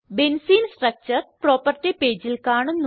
benzene structure property പേജിൽ കാണുന്നു